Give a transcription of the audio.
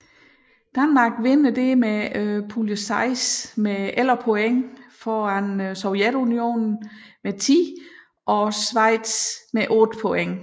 Danmark vinder dermed pulje 6 med 11 point foran Sovjetunionen med 10 og Schweiz med 8 point